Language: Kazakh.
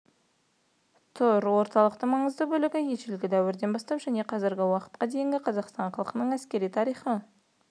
тұр орталықтың маңызды бөлігі ежелгі дәуірден бастап және қазіргі уақытқа дейінгі қазақстан халқының әскери тарихы